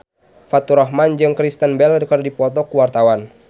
Faturrahman jeung Kristen Bell keur dipoto ku wartawan